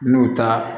N'o ta